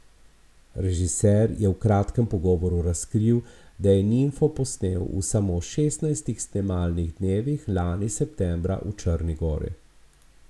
Režiser je v kratkem pogovoru razkril, da je Nimfo posnel v samo šestnajstih snemalnih dnevih lani septembra v Črni gori.